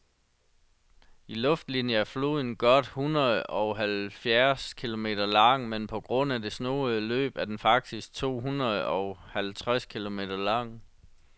I luftlinie er floden godt hundredeoghalvfjerds kilometer lang, men på grund af det snoede løb er den faktisk tohundredeoghalvtreds kilometer lang.